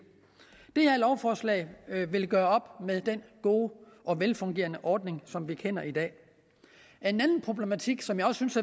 det her lovforslag vil gøre op med den gode og velfungerende ordning som vi kender i dag en anden problematik som jeg også synes